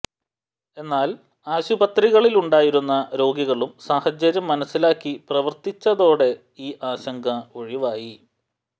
എന്നാൽ ആശുപത്രികളിലുണ്ടായിരുന്ന രോഗികളും സാഹചര്യം മനസ്സിലാക്കി പ്രവർത്തിച്ചതോടെ ഈ ആശങ്ക ഒഴിവായി